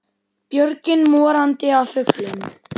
Björgin morandi af fuglum.